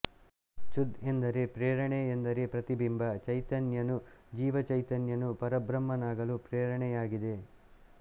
ಚುದ್ ಎಂದರೆ ಪ್ರೇರಣೆ ಎಂದರೆ ಪ್ರತಿಬಿಂಬ ಚೈತನ್ಯನು ಜೀವ ಚೈತನ್ಯನು ಪರಬ್ರಹ್ಮನಾಗಲು ಪ್ರೇರಣೆಯಾಗಿದೆ